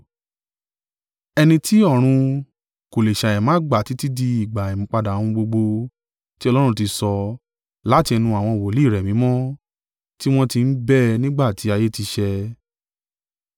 Ẹni tí ọ̀run kò lé ṣàìmá gbà títí di ìgbà ìmúpadà ohun gbogbo, tí Ọlọ́run ti sọ láti ẹnu àwọn wòlíì rẹ̀ mímọ́ tí wọn ti ń bẹ nígbà tí ayé ti ṣẹ̀.